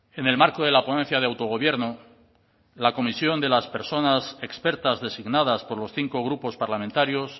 en el marco de la ponencia de autogobierno la comisión de las personas expertas designadas por los cinco grupos parlamentarios